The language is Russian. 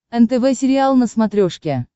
нтв сериал на смотрешке